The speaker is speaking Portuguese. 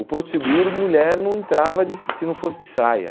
O Porto Seguro, mulher não entrava de se não fosse de saia.